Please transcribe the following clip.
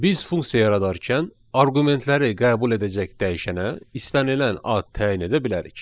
Biz funksiya yaradarkən arqumentləri qəbul edəcək dəyişənə istənilən ad təyin edə bilərik.